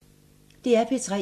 DR P3